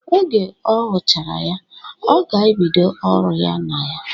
Oge ọ huchara ya, ọ ga-ebido ọrụ na ya.